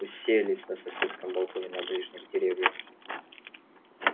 уселись на соседском балконе на ближних деревьях